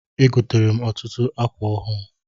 E gotere m ọtụtụ akwa ọhụụ.